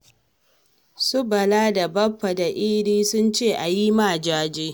Su Bala da Baffa da Idi sun ce a yi ma jaje.